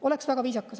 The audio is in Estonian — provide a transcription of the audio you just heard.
Oleks väga viisakas.